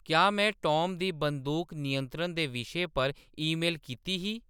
क्या में टॉम गी बंदूक नियंत्रण दे विशे पर ईमेल कीती ही